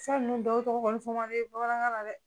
Sa ninnu dɔw tɔgɔ kɔni fɔ ma ne ye bamanankan na dɛ